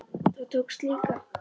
Það tókst líka.